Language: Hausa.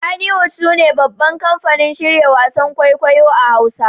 Kannywood sune babban kamfanin shirya wasan kwaikwayo a Hausawa